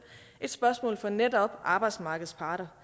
et spørgsmål for netop arbejdsmarkedets parter